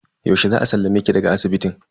Yaushe za a sallame ki daga asibitin?